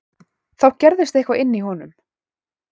Þá gerðist eitthvað inní honum.